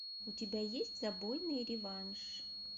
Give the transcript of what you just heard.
у тебя есть забойный реванш